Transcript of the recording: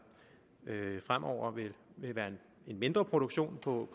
fremover vil være en mindre produktion på